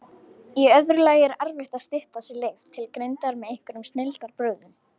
Í öðru lagi er erfitt að stytta sér leið til greindar með einhverjum snilldarbrögðum.